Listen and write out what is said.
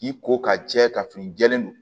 K'i ko ka jɛ ka fini jɛlen don